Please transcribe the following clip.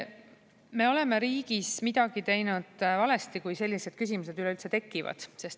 Me oleme riigis midagi teinud valesti, kui sellised küsimused üleüldse tekivad.